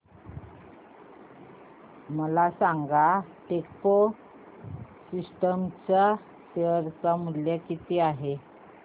मला सांगा Techpro systems चे शेअर मूल्य किती आहे